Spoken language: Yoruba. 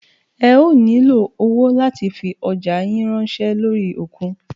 Ẹ ó nílo owó láti fi ọjá yín ránṣẹ́ lórí òkun.